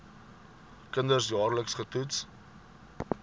kinders jaarliks getoets